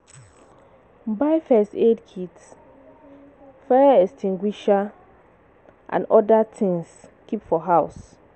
Buy first aid kit, fire extinguisher and oda things keep for house